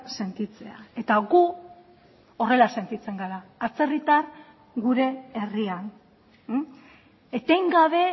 sentitzea eta gu horrela sentitzen gara atzerritar gure herrian etengabe